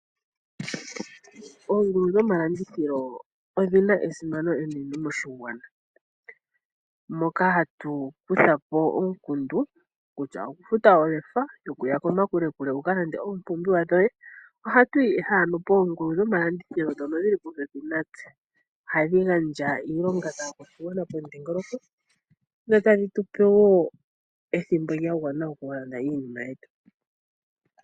Oongulu dhoalandithilo odhima esimano enene moshigwana moka hatu kuthapo omukundu kutya okukutha olefa yo kuya kokule wukalande oompumbiwa dhoye . Ohatuyi ihe poongulu dho malandithilo ndhono dhili popepi natse. Ohadhi gandja iilonga kaakwashigwana pomuthika, dho tadhi tupe woo ethimbo lya gwana okulanda iinima yetu.